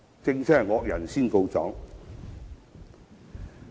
這真的是惡人先告狀。